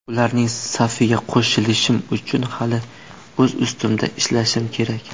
Ularning safiga qo‘shilishim uchun hali o‘z ustimda ishlashim kerak.